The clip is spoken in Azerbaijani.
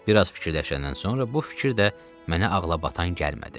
Bir az fikirləşəndən sonra bu fikir də mənə ağlabatan gəlmədi.